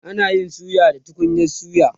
ana Yi suya da tukunyan suya